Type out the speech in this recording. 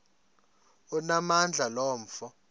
onamandla lo mfo